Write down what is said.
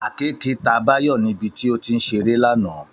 Àkekèé ta Báyọ̀ níbi tí ó ti ń ṣeré lánàá